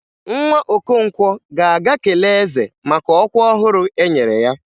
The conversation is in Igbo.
Nwa Okonkwo ga-aga kelee eze maka ọkwa ọhụrụ e nyere ya.